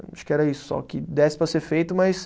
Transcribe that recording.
Acho que era isso só, que desse para ser feito, mas...